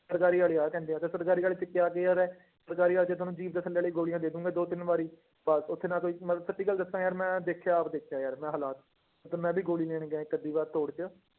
ਸਰਕਾਰੀ ਵਾਲੇ ਆਹ ਕਹਿੰਦੇ ਤੇ ਸਰਕਾਰੀ ਵਾਲੇ ਚ ਕਿਆ care ਹੈ, ਸਰਕਾਰੀ ਵਾਲੇ ਚ ਤੁਹਾਨੂੰ ਵਾਲੀ ਗੋਲੀਆਂ ਦੇ ਦਓਗੇ ਦੋ ਤਿੰਨ ਵਾਰੀ, ਬਸ ਉੱਥੇ ਨਾ ਕੋਈ ਮੈਂ ਸੱਚੀ ਗੱਲ ਦੱਸਾਂ ਯਾਰ ਮੈਂ ਦੇਖਿਆ ਆਪ ਦੇਖਿਆ ਯਾਰ ਮੈਂ ਹਾਲਾਤ, ਤੇ ਮੈਂ ਵੀ ਗੋਲੀ ਲੈਣ ਗਿਆ ਇੱਕ ਅੱਧੀ ਵਾਰ ਤੋੜ ਚ